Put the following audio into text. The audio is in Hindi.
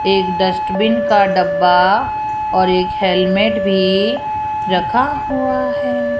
एक डस्टबिन का डब्बा और एक हेलमेट भी रखा हुआ है।